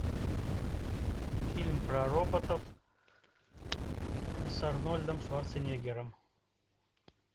фильм про роботов с арнольдом шварценеггером